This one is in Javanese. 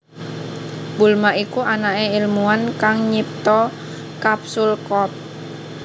Bulma iku anaké ilmuwan kang nyipta Capsule Corp